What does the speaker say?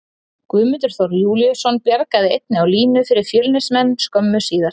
Guðmundur Þór Júlíusson bjargaði einnig á línu fyrir Fjölnismenn skömmu síðar.